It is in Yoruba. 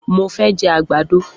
Mo fẹ́ jẹ àgbàdo.